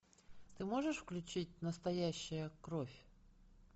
ты можешь включить настоящая кровь